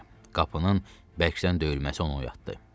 Qapının bərkdən döyülməsi onu oyatdı.